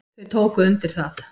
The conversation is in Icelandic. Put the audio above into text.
Þau tóku undir það.